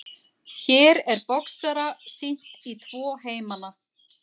Hér er boxara sýnt í tvo heimana.